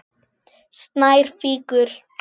Snær fýkur.